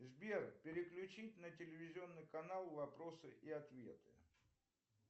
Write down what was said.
сбер переключить на телевизионный канал вопросы и ответы